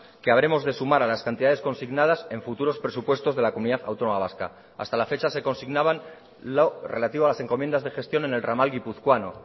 que habremos de sumar a las cantidades consignadas en futuros presupuestos de la comunidad autónoma vasca hasta la fecha se consignaban lo relativo a las encomiendas de gestión en el ramal guipuzcoano